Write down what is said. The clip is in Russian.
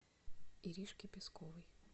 иришке песковой